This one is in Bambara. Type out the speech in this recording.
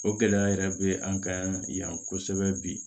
O gɛlɛya yɛrɛ be an kan yan kosɛbɛ bi